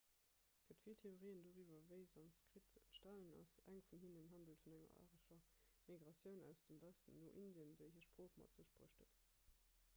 et gëtt vill theorien doriwwer wéi sanskrit entstanen ass eng vun hinnen handelt vun enger arescher migratioun aus dem westen no indien déi hir sprooch mat sech bruecht huet